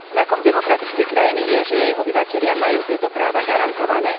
Znakom demokratickej krajiny je, že jej obyvatelia majú tieto práva garantované.